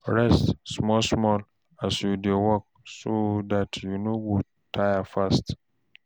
Rest small small as you dey work so dat you no go tire fast